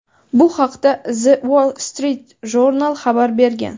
Bu haqda "The Wall Street Journal" xabar bergan.